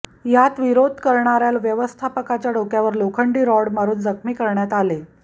यात विरोध करणाऱ्या व्यवस्थापकाच्या डोक्यावर लोखंडी रॉड मारुन जखमी करण्यात आले